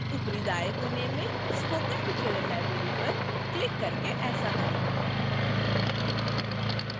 ऊपरी दाएं कोने में spoken tutorial library पर क्लिक करके ऐसा करें